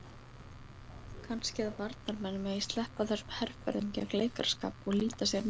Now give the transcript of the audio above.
Kannski að varnarmenn megi sleppa þessum herferðum gegn leikaraskap og líta sér nær?